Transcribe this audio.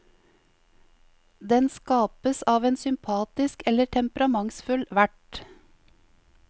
Den skapes av en sympatisk eller temperamentsfull vert.